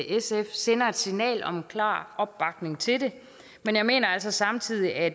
sf sender et signal om en klar opbakning til det men jeg mener altså samtidig at